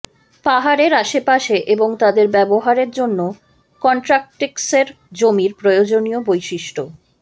পাহাড়ের আশেপাশে এবং তাদের ব্যবহারের জন্য কনট্রাক্টিক্সের জমির প্রয়োজনীয় বৈশিষ্ট্য